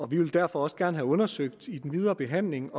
vi vil derfor også gerne have undersøgt i den videre behandling